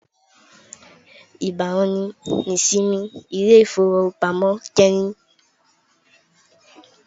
Nigbawo ni isinmi ile-ifowopamọ kẹhin?